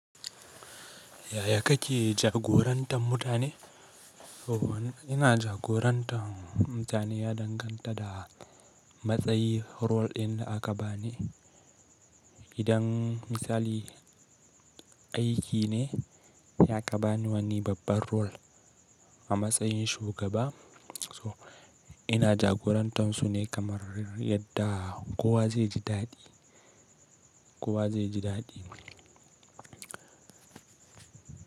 Yaya kake jagorantar mutane? Ina jagorantar mutane ya danganta da matsayin role ɗin da aka bani. Idan misali aiki ne, da aka bani wani babbar role a matsayin shugaba, so ina jagorantar su ne kamar yadda kowa zai ji daɗi, kowa zai ji daɗi.